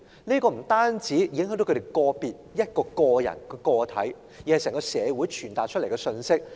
這不單影響個別人士，更向整個社會傳達極其惡劣的信息。